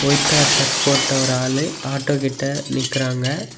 White colour shirt போட்ட ஒரு ஆளு ஆட்டோ கிட்ட நிக்கிறாங்க.